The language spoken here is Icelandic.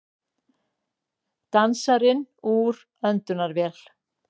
Dansarinn úr öndunarvél